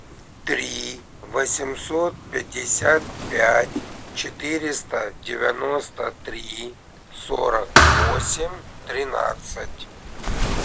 три восемьсот пятьдесят пять четыреста девяносто три сорок восемь тринадцать